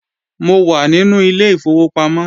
Mo wà nínú ilé ìfowópamọ́